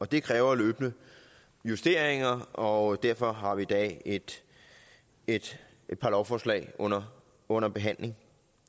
det kræver løbende justeringer og derfor har vi i dag et et par lovforslag under under behandling